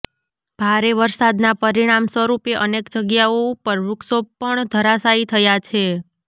ભારે વરસાદના પરિણામ સ્વરૂપે અનેક જગ્યાઓ ઉપર વૃક્ષો પણ ધરાશાયી થયા છે